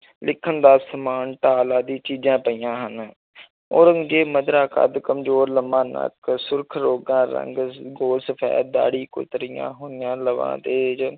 ਲਿਖਣ ਦਾ ਸਮਾਨ, ਢਾਲ ਆਦਿ ਚੀਜ਼ਾਂ ਪਈਆਂ ਹਨ ਔਰੰਗਜ਼ੇਬ-ਮਧਰਾ ਕੱਦ, ਕਮਜ਼ੋਰ, ਲੰਮਾ ਨੱਕ, ਸੁਰਖ਼ ਰੋਗਾ ਰੰਗ, ਗੋਲ ਸਫ਼ੈਦ ਦਾੜ੍ਹੀ, ਕੁਤਰੀਆਂ ਹੋਈਆਂ ਲਬਾਂ, ਤੇਜ਼